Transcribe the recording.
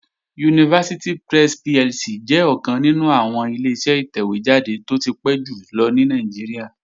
University Press PLC jẹ́ ọ̀kan nínú àwọn Ileṣẹ́ ìtẹ̀wé jáde tó ti pẹ́ jù lọ ní Nàìjíríà